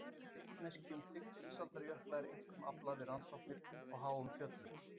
Vitneskju um þykkt ísaldarjökla er einkum aflað við rannsóknir á háum fjöllum.